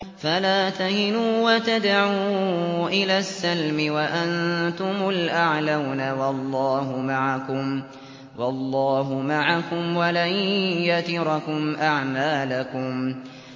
فَلَا تَهِنُوا وَتَدْعُوا إِلَى السَّلْمِ وَأَنتُمُ الْأَعْلَوْنَ وَاللَّهُ مَعَكُمْ وَلَن يَتِرَكُمْ أَعْمَالَكُمْ